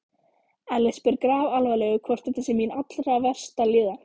Elli spyr grafalvarlegur, hvort þetta sé mín allra versta líðan?